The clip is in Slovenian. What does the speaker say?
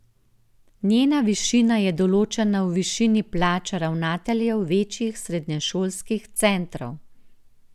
Njena višina je določena v višini plač ravnateljev večjih srednješolskih centrov.